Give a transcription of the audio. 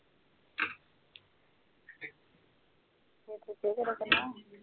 ਇਹ